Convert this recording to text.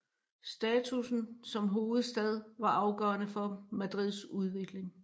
Statussen som hovedstad var afgørende for Madrids udvikling